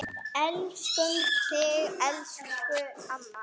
Elskum þig, elsku amma.